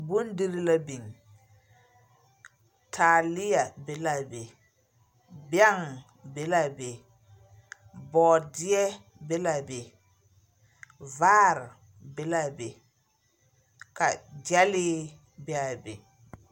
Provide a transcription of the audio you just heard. Bondiri la biŋ. Taaleɛ be laa be. Bɛŋ be laa be. Bɔɔdeɛ, be laa be. Vaare, be laa be. Ka gyɛlee be a be.